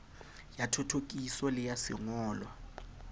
ya thothokiso le ya sengolwa